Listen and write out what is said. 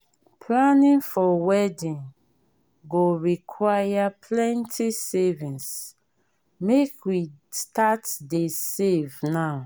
planning for wedding go require plenty savings make we start dey save now.